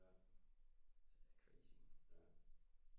Ja ja